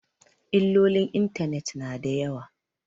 Illolin intanet na da yawa